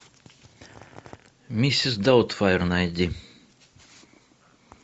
миссис даутфайр найди